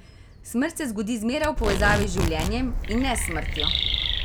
Smrt se zgodi zmeraj v povezavi z življenjem, in ne s smrtjo.